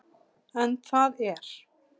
En það er